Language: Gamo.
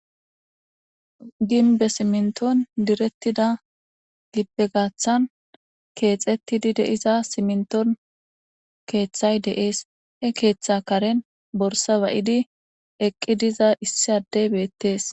Gimbbe simintton direttida keththettia simintton keththay dees he keeththa karen borssa ba'iddi eeqi diza addey de'es.